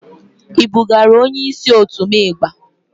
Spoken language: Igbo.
I bugara onye isi òtu m igba?